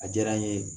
A diyara n ye